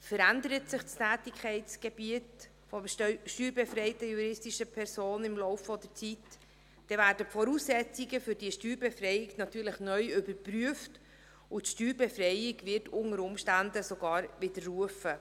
Verändert sich das Tätigkeitsgebiet der steuerbefreiten juristischen Person im Laufe der Zeit, dann werden die Voraussetzungen für die Steuerbefreiung natürlich neu überprüft, und die Steuerbefreiung wird unter Umständen sogar widerrufen.